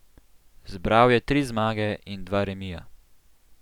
Zbral je tri zmage in dva remija.